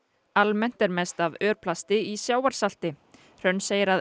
almennt er mest af örplasti í sjávarsalti hrönn segir að